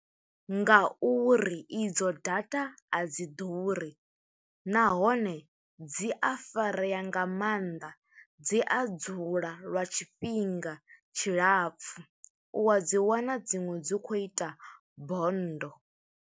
Ngauri i dzo data, a dzi ḓuri. Nahone dzi a farea nga maanḓa, dzi a dzula lwa tshifhinga tshilapfu, u a dzi wana dziṅwe dzi khou ita bonndo.